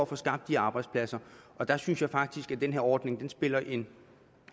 få skabt de arbejdspladser og der synes jeg faktisk at den her ordning spiller en